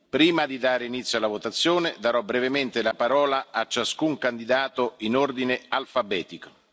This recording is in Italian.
Prima di dare inizio alla votazione, darò brevemente la parola a ciascun candidato in ordine alfabetico.